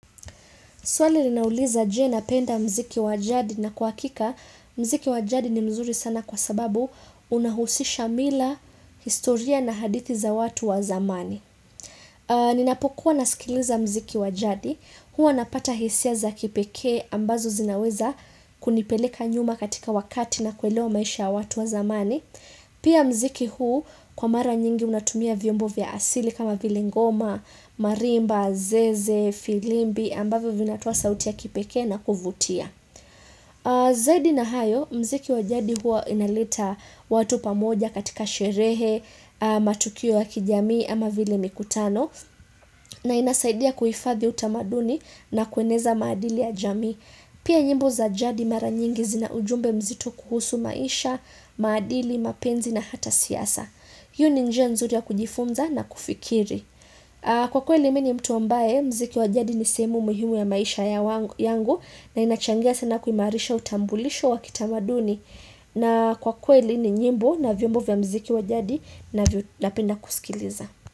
Swali linauliza. Je napenda mziki wa jadi? Na kwa uhakika, mziki wa jadi ni mzuri sana kwa sababu unahusisha mila, historia na hadithi za watu wa zamani. Ninapokuwa nasikiliza mziki wa jadi, huwa napata hisia za kipekee ambazo zinaweza kunipeleka nyuma katika wakati na kuelewa maisha ya watu wa zamani. Pia mziki huu kwa mara nyingi unatumia vyombo vya asili kama vile ngoma, marimba, zeze, filimbi, ambavyo vinatoa sauti ya kipekee na kuvutia. Zaidi na hayo, mziki wa jadi hua inaleta watu pamoja katika sherehe, matukio ya kijamii ama vile mikutano. Na inasaidia kuhifadhi utamaduni na kueneza maadili ya jamii. Pia nyimbo za jadi mara nyingi zina ujumbe mzito kuhusu maisha, maadili, mapenzi na hata siasa. Iyo ni njia nzuri ya kujifunza na kufikiri. Kwa kweli mimi ni mtu ambae, mziki wa jadi ni sehemu muhimu ya maisha yangu. Na inachangia sana kuimarisha utambulisho wa kitamaduni. Na kwa kweli ni nyimbo na vyombo vya mziki wa jadi na napenda kusikiliza.